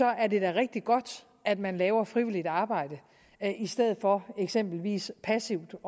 er det da rigtig godt at man laver frivilligt arbejde i stedet for eksempelvis passivt